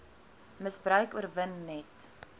misbruik oorwin net